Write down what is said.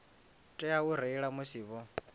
tea u reila musi vho